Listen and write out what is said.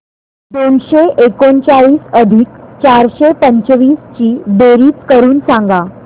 दोनशे एकोणचाळीस अधिक चारशे पंचवीस ची बेरीज करून सांगा